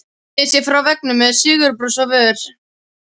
Sneri sér frá veggnum með sigurbros á vör.